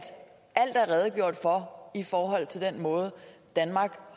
redegjort for i forhold til den måde danmark